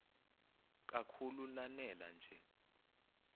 kakhulu lanela nje